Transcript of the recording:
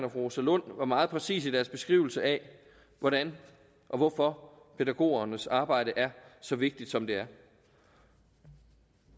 rosa lund var meget præcise i deres beskrivelser af hvordan og hvorfor pædagogernes arbejde er så vigtigt som det er